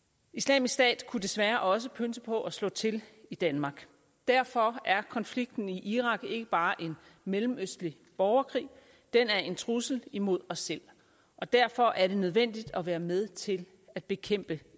islamisk stat kunne desværre også pønse på at slå til i danmark derfor er konflikten i irak ikke bare en mellemøstlig borgerkrig den er en trussel imod os selv og derfor er det nødvendigt at være med til at bekæmpe